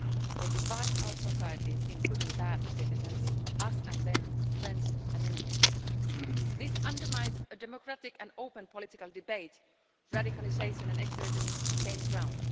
They divide our societies into good and bad citizens, us and them, friends and enemies. This undermines a democratic and open political debate, and radicalisation and extremism gain ground.